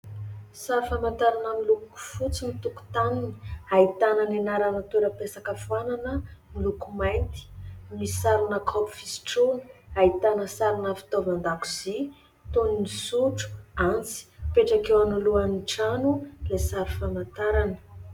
Sary famantarana miloko fotsy ny tokotaniny. Ahitana ny anarana torapesaka foanana miloko mainty. Misy sarina kaopy fisotroana, ahitana sarina fitaovan-dakozia toy ny sotro, antsy ; mipetraka eo anoloan'ny trano ilay sary famantarana.